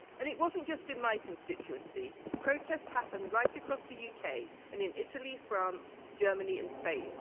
It wasn't just in my constituency protests happened right across the UK and in Italy, France, Germany and Spain.